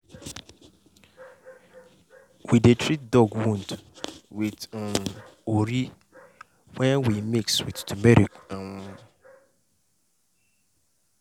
we dey treat dog wound with um ori wey we mix with turmeric. um